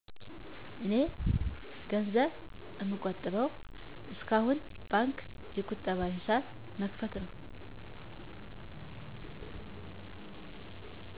እኔ ገንዘብ እምቆጥበው እስካሁን በባንክ የቀጠባ ሂሳብ በመክፈት ነው።